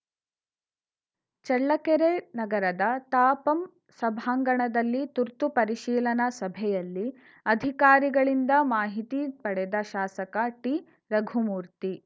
ಚಳ್ಳಕೆರೆ ನಗರದ ತಾಪಂ ಸಭಾಂಗಣದಲ್ಲಿ ತುರ್ತು ಪರಿಶೀಲನಾ ಸಭೆಯಲ್ಲಿ ಅಧಿಕಾರಿಗಳಿಂದ ಮಾಹಿತಿ ಪಡೆದ ಶಾಸಕ ಟಿರಘುಮೂರ್ತಿ